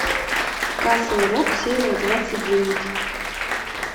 касл рок серия двадцать девять